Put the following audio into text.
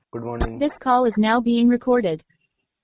good morning